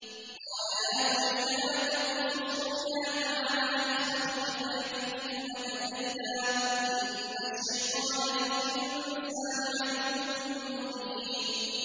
قَالَ يَا بُنَيَّ لَا تَقْصُصْ رُؤْيَاكَ عَلَىٰ إِخْوَتِكَ فَيَكِيدُوا لَكَ كَيْدًا ۖ إِنَّ الشَّيْطَانَ لِلْإِنسَانِ عَدُوٌّ مُّبِينٌ